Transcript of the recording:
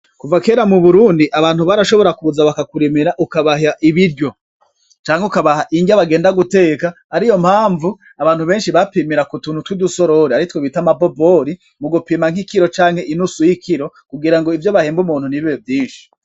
Kuva kera mu Burundi abantu barashobora kuza bakakurimira ukabaha ibiryo canke ukabaha indya bagenda guteka, ariyo mpamvu abantu benshi bapimira ku tuntu tw'udusorori aritwo bita amabobori mu gupima nk'ikiro canke inusu y'ikiro kugira ngo ivyo bahemba umuntu ntibibe vyinshi.